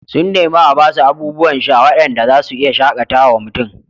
Sun nemi a ba su abubuwan sha waɗanda za su iya shaƙatawa mutum